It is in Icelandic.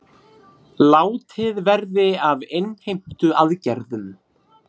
Látið verði af innheimtuaðgerðum